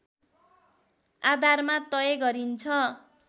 आधारमा तय गरिन्छ